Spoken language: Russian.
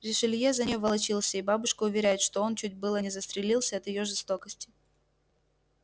ришелье за нею волочился и бабушка уверяет что он чуть было не застрелился от её жестокости